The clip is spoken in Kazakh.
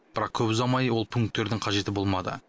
бірақ көп ұзамай ол пункттердің қажеті болмады